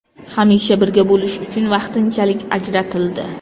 Hamisha birga bo‘lish uchun vaqtinchalik ajratildi .